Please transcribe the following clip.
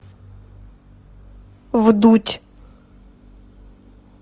вдудь